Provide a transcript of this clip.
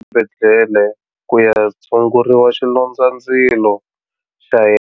Exibedhlele ku ya tshungurisa xilondzandzilo xa yena.